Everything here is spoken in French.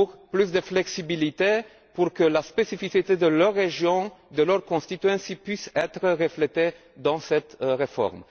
vue de plus de flexibilité afin que la spécificité de leur région, de leur circonscription puisse être reflétée dans cette réforme.